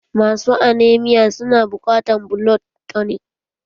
Masu aneamia su na buƙatan blood tunik